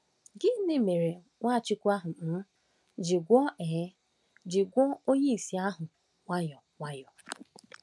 Gịnị mere Nwachukwu um ji gwọọ um ji gwọọ onye ìsì ahụ nwayọ nwayọ?